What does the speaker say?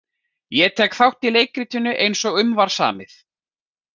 Ég tek þátt í leikritinu eins og um var samið.